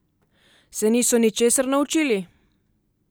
Se niso ničesar naučili?